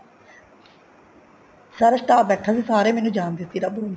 ਸਾਰਾ staff ਬੈਠਾ ਸੀ ਸਾਰੇ ਮੈਨੂੰ ਜਾਣਦੇ ਸੀ